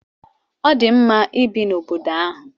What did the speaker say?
Ọ dị mma ibi n'obodo ahụ.